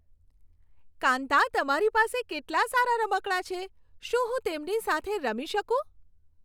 કાંતા, તમારી પાસે કેટલાં સારાં રમકડાં છે. શું હું તેમની સાથે રમી શકું?